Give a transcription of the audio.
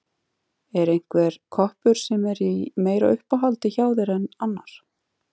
Er einhver koppur sem er í meira uppáhaldi hjá þér en annar?